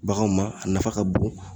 Baganw ma a nafa ka bon